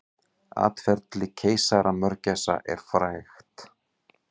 Atferli keisaramörgæsar er frægt.